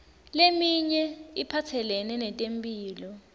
leminye iphatselene netemphilo